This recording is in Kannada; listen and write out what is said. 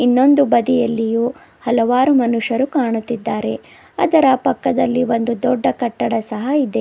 ಇನ್ನೊಂದು ಬದಿಯಲ್ಲಿಯೂ ಹಲವಾರು ಮನುಷ್ಯರು ಕಾಣುತ್ತಿದ್ದಾರೆ ಅದರ ಪಕ್ಕದಲ್ಲಿ ಒಂದು ದೊಡ್ಡ ಕಟ್ಟಡ ಸಹ ಇದೆ.